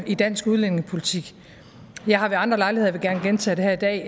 i dansk udlændingepolitik jeg har ved andre lejligheder og vil gerne gentage det her i dag